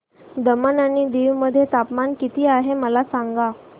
दमण आणि दीव मध्ये तापमान किती आहे मला सांगा